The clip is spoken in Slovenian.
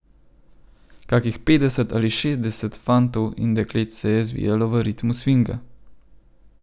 Kakih petdeset ali šestdeset fantov in deklet se je zvijalo v ritmu svinga.